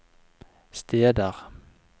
steder